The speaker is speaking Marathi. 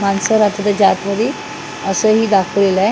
माणसं राहतात त्याच्या आतमधी असंही दाखवलेलं आहे.